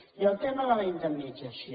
i el tema de la indemnització